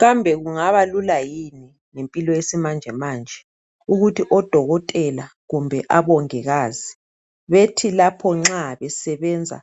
Kambe kungaba lula yini ngempilo yesimanjemanje, ukuthi odokotela kumbe abongikazi bethi lapho nxa besebenza